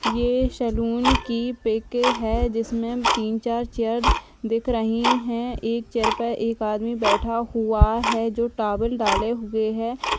ये सैलून की पिक है जिसमें तीन चार चेयर दिख रही है। एक चेयर पे एक आदमी बैठा हुआ है जो टॉवल डाले हुए है।